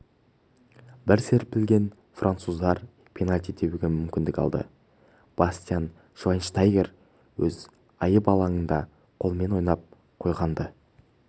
бір серпілген француздар пенальти тебуге мүмкіндік алды бастиан швайнштайгер өз айып алаңында қолымен ойнап қойған-ды